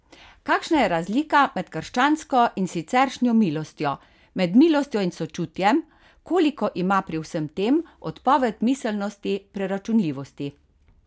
Kakšna je razlika med krščansko in siceršnjo milostjo, med milostjo in sočutjem, koliko ima pri vsem tem odpoved miselnosti preračunljivosti?